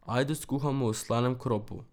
Ajdo skuhamo v slanem kropu.